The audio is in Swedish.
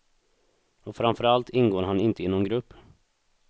Och framför allt ingår han inte i någon grupp.